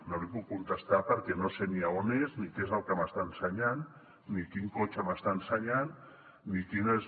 no li puc contestar perquè no sé ni on és ni què és el que m’està ensenyant ni quin cotxe m’està ensenyant ni quines